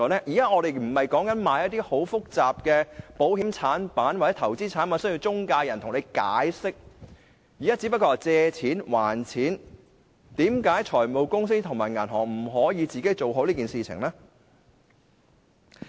現在我們說的不是售賣一些很複雜的保險或投資產品，而需要中介人解釋，現在說的只是借錢、還錢，為何財務公司及銀行本身不可以做好這件事情呢？